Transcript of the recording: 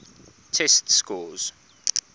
test scores